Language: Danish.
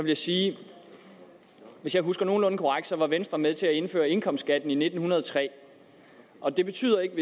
jeg sige at hvis jeg husker nogenlunde korrekt så var venstre med til at indføre indkomstskatten i nitten hundrede og tre og det betyder ikke at